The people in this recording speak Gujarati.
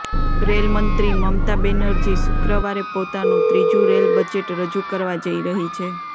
રેલ મંત્રી મમતા બેનર્જી શુક્રવરે પોતાનુ ત્રીજુ રેલ બજેટ રજૂ કરવા જઈ રહી છે